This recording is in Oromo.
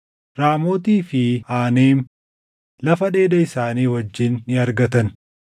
Raamootii fi Aanem lafa dheeda isaanii wajjin ni argatan;